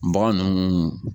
Bagan ninnu